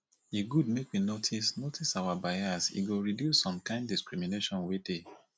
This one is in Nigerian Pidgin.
e good make we notice notice our bias e go reduce some kind discrimination wey dey